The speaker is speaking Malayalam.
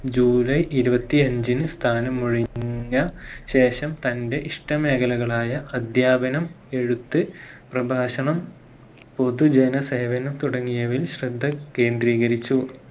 ജൂലൈ ഇരുപത്തിയഞ്ചിന് സ്ഥാനമൊഴിഞ്ഞ ശേഷം തന്റെ ഇഷ്ട മേഖലകളായ അദ്ധ്യാപനം, എഴുത്ത്, പ്രഭാഷണം പൊതുജന സേവനം തുടങ്ങിയവയിൽ ശ്രദ്ധ കേന്ദ്രീകരിച്ചു